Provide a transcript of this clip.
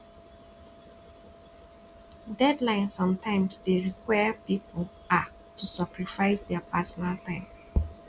deadline sometimes dey require pipo um to sacrifice their personal time